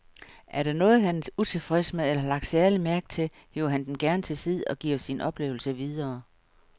Er der noget, han er utilfreds med eller har lagt særlig mærke til, hiver han dem gerne til side og giver sine oplevelser videre.